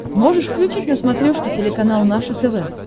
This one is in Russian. можешь включить на смотрешке телеканал наше тв